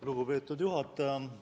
Lugupeetud juhataja!